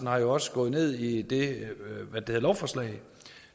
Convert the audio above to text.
har jo også gået ned i det lovforslag